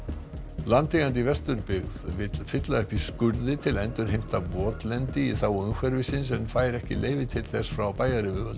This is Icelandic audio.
landeigandi í Vesturbyggð vill fylla upp í skurði til að endurheimta votlendi í þágu umhverfisins en fær ekki leyfi til þess frá bæjaryfirvöldum